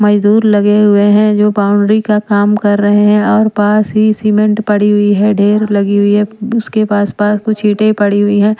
मजदूर लगे हुए हैं जो बाउंड्री का काम कर रहे हैं और पास ही सीमेंट पड़ी हुई है ढेर लगी हुई है उसके पास-पास कुछ ईंटें पड़ी हुई है।